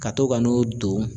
Ka to ka n'o don